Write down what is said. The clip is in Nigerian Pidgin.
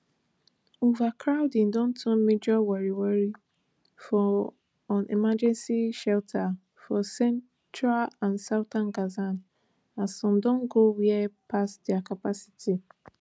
overcrowding don turn major worry worry for un emergency shelters for central and southern gaza as some don go way past dia capacity